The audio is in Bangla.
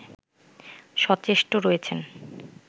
সচেষ্ট রয়েছেন